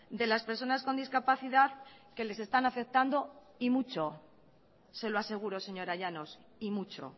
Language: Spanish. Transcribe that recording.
de las personas con discapacidad que les están afectando y mucho se lo aseguro señora llanos y mucho